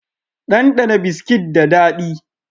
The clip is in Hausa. Ɗanɗana Biskit ba daɗi